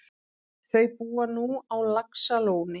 Þau búa nú á Laxalóni.